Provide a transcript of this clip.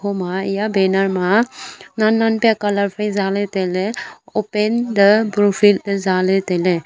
boma banner ma nen nen pe colour phai zale tailey open the buffer le zale tailey.